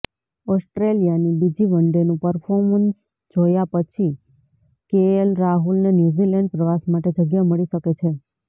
ઓસ્ટ્રેલિયાની બીજી વનડેનું પરફોર્મન્સ જોયા પછી કેએલ રાહુલને ન્યૂઝીલેન્ડ પ્રવાસ માટે જગ્યા મળી શકે છે